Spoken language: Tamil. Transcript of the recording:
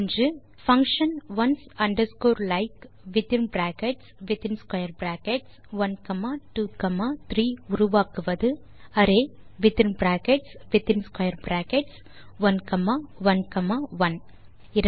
தே function ones underscore like within brackets within square brackets 1 comma 2 comma 3 உருவாக்குவது ஒரு array within brackets within square brackets 1 comma 1 comma 1